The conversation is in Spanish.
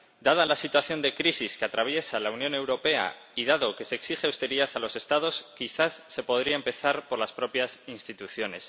Dada la situación de crisis que atraviesa la Unión Europea y dado que se exige austeridad a los Estados, quizás se podría empezar por las propias instituciones.